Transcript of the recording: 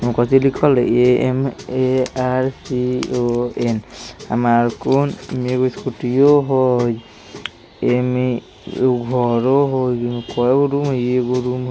कोच्ची लिखल हई A M A R C O N अमरकोन में भी स्कूटीओ हई एमे एगो घरो हई कै गो घर हई एगो --